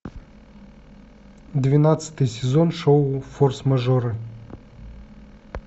двенадцатый сезон шоу форс мажоры